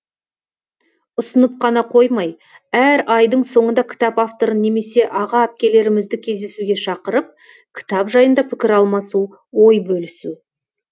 ұсынып қана қоймай әр айдың соңында кітап авторын немесе аға әпкелерімізді кездесуге шақырып кітап жайында пікір алмасу ой бөлісу